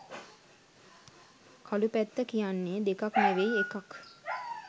කළු පැත්ත කියන්නේ දෙකක් නෙවෙයි එකක්.